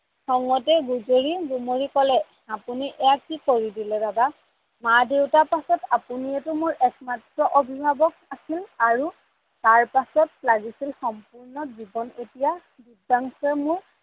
খংতে গুজৰি গুমৰি কলে এইয়া আপোনি কি কৰি দিলে দাদা মা দেউতাৰ পাছত আপোনিয়েইটো মোৰ একমাত্ৰ অভিভাৱক আছিল আৰু তাৰ পাছত লাগিছিল সম্পূৰ্ণ জীৱন এতিয়া দিব্যাংসুয়েই মোৰ